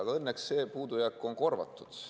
Aga õnneks see puudujääk on korvatud.